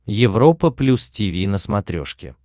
европа плюс тиви на смотрешке